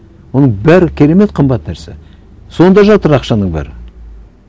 оның бәрі керемет қымбат нәрсе сонда жатыр ақшаның бәрі